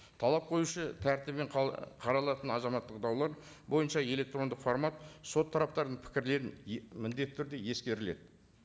талап қоюшы тәртібімен қаралатын азаматтық даулар бойынша электрондық формат сот тараптарының пікірлерін міндетті түрде ескеріледі